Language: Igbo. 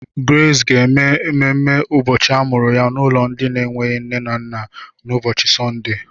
Grace ga-eme mmemmé ụbọchị amụrụ ya n'ụlọ ndị na-enweghị nne na nna n'ụbọchị Sọnde.